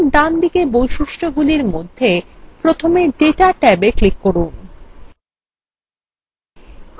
এখন ডানদিকে বৈশিষ্ট্যগুলির মধ্যে প্রথমে ডেটা ট্যাবে ক্লিক করুন